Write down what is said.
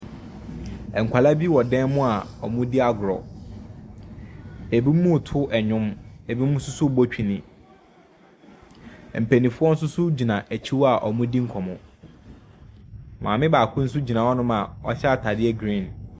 Nkwalaa bi wɔ dɛm a ɔmo di agorɔ. Ebi mo to ɛnwom, ebi mu soso bɔ twene. Mpaninfoɔ soso gyina ekyi hɔ a ɔmo di nkɔmɔ. Maame baako so gyina hɔ nom a ɔhyɛ ataadeɛ griin.